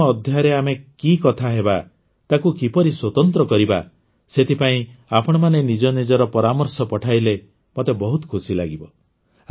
ଶହେତମ ଅଧ୍ୟାୟରେ ଆମେ କି କଥା ହେବା ତାକୁ କିପରି ସ୍ୱତନ୍ତ୍ର କରିବା ସେଥିପାଇଁ ଆପଣମାନେ ନିଜ ନିଜର ପରାମର୍ଶ ପଠାଇଲେ ମୋତେ ବହୁତ ଖୁସି ଲାଗିବ